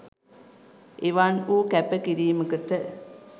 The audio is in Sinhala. එවන් වූ කැප කිරීමකට